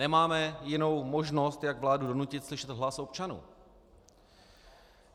Nemáme jinou možnost, jak vládu donutit slyšet hlas občanů.